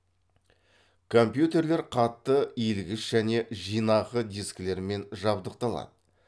компьютерлер қатты иілгіш және жинақы дискілермен жабдықталады